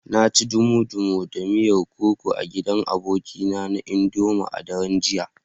Na ci dumu-dumu da miyar okoho a gidan abokina na idoma a daren jiya.